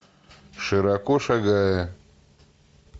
широко шагая